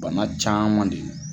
Bana caman de